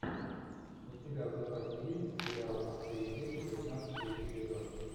у тебя в запасе есть сериал отцы и дети пятнадцатый эпизод